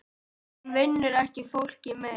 Hún vinnur ekki fólki mein.